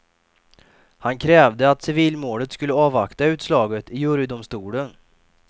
Han krävde att civilmålet skulle avvakta utslaget i jurydomstolen.